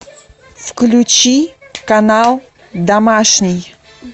включи канал домашний